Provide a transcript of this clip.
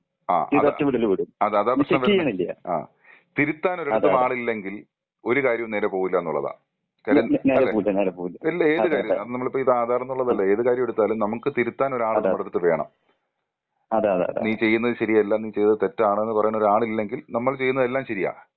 ആ അത് ആ അതാ പ്രശ്നം വരുന്നേ. ആ തിരുത്താൻ ഒരിടത്ത് മാറില്ലെങ്കിൽ ഒരു കാര്യം നേരെ പോവില്ല എന്നുള്ളതാണ്.അല്ലെ? അല്ല ഏത് കാര്യോം അത് നമ്മളിപ്പോ ഈ ആധാറ് എന്നുള്ളതല്ല ഏത് കാര്യമെടുത്താലും നമുക്ക് തിരുത്താൻ ഒരാൾ നമ്മളെ അടുത്ത് വേണം. നീ ചെയ്യുന്നത് ശരിയല്ല നീ ചെയ്യുന്നത് തെറ്റാണ് എന്ന് പറയാൻ ഒരാൾ ഇല്ലെങ്കി നമ്മൾ ചെയ്യുന്ന എല്ലാം ശരിയാ.